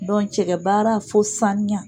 Bɔn cɛgɛ baara fo saniya